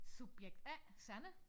Subjekt A Sanne